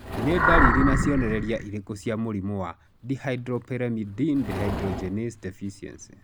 Nĩ ndariri na cionereria irĩkũ cia mũrimũ wa Dihydropyrimidine dehydrogenase deficiency?